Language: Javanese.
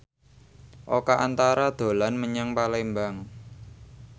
Oka Antara dolan menyang Palembang